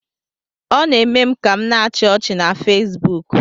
Ọ na-eme m ka m na -achi ọchị na Fesbuk